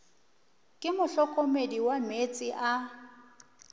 ke mohlokomedi wa meetse a